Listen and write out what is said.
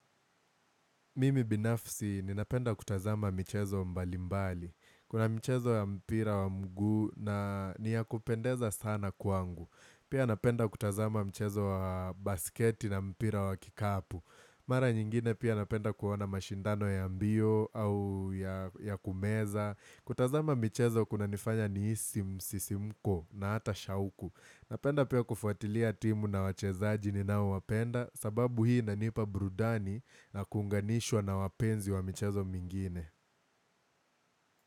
Mimi binafsi ninapenda kutazama michezo mbalimbali. Kuna mchezo ya mpira wa mguu na niya kupendeza sana kwangu. Pia napenda kutazama mchezo wa basketi na mpira wa kikapu. Mara nyingine pia napenda kuona mashindano ya mbio au ya kumeza. Kutazama mchezo kuna nifanya nihisi msisimko na hata shauku. Napenda pia kufuatilia timu na wachezaji ninao wapenda sababu hii inanipa burdani na kuunganishwa na wapenzi wa michazo mingine.